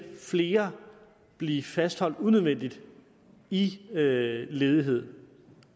flere blive fastholdt unødvendigt i ledighed